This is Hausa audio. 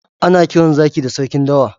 Ana kiran Zaki da sarkin dawa.